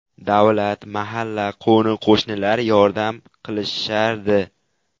Davlat, mahalla, qo‘ni-qo‘shnilar yordam qilishardi.